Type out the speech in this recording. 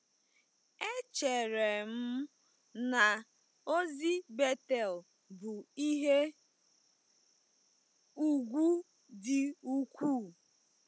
Echere m na ozi Betel bụ ihe ùgwù dị ukwuu.